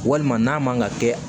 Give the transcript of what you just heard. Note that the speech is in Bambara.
Walima n'a man ka kɛ